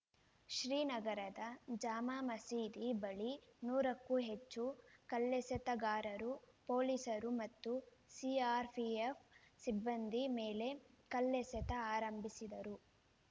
ಶ್ರೀನಗರದ ಜಾಮಾ ಮಸೀದಿ ಬಳಿ ನೂರಕ್ಕೂ ಹೆಚ್ಚು ಕಲ್ಲೆಸೆತಗಾರರು ಪೊಲೀಸರು ಮತ್ತು ಸಿಆರ್‌ಪಿಎಫ್‌ ಸಿಬ್ಬಂದಿ ಮೇಲೆ ಕಲ್ಲೆಸೆತ ಆರಂಭಿಸಿದರು